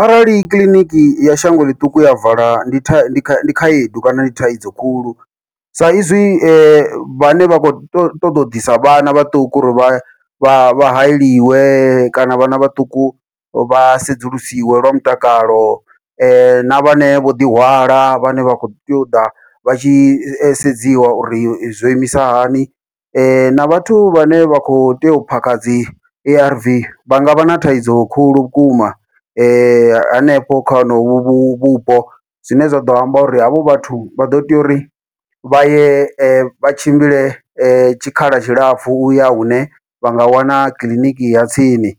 Arali kiḽiniki ya shango ḽiṱuku ya vala ndi ndi ndi khaedu kana ndi thaidzo khulu, sa izwi vhane vha khou ṱoḓa u ḓisa vhana vhaṱuku uri vha vha vha hayeliwe kana vhana vhaṱuku vha sedzulusiwe lwa mutakalo, na vhane vho ḓihwala vhane vha khou tea u ḓa vha tshi sedziwa uri zwo imisa hani, na vhathu vhane vha kho tea u phakha dzi A_R_V vha ngavha na thaidzo khulu vhukuma hanefho kha honovho vhupo. Zwine zwa ḓo amba uri havho vhathu vha ḓo tea uri vha ye vha tshimbile tshikhala tshilapfhu uya hune vha nga wana kiḽiniki ya tsini,